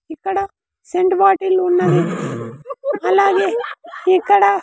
ఇక్కడ scent bottle ఉన్నది అలాగే ఇక్కడ.